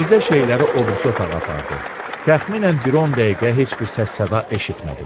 Mirzə şeyləri o birisi otağa apardı, təxminən bir 10 dəqiqə heç bir səs-səda eşitmədim.